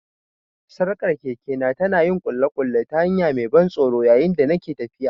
Sarkar kekena ta na yin ƙulle-ƙulle ta hanya mai ban tsoro yayin da nake tafiya.